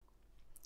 TV 2